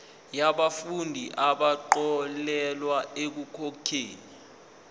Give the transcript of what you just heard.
yabafundi abaxolelwa ekukhokheni